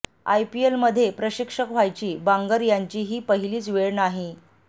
आयपीएलमध्ये प्रशिक्षक व्हायची बांगर यांची ही पहिलीच वेळ नाही